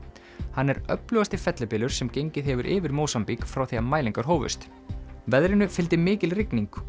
hann er öflugasti fellibylur sem gengið hefur yfir Mósambík frá því mælingar hófust veðrinu fylgdi mikil rigning og